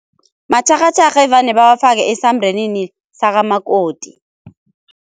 Matjharhatjharha evane bawafake esambrenini sakamakoti.